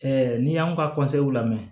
n'i y'anw ka lamɛn